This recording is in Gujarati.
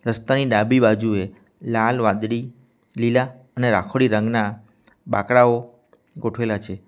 રસ્તાની ડાબી બાજુએ લાલ વાદળી લીલા અને રાખોડી રંગના બાંકડાઓ ગોઠવેલા છે.